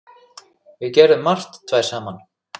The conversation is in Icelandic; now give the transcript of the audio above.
Við gerðum margt tvær saman.